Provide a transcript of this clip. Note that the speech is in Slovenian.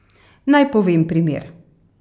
Naj povem primer.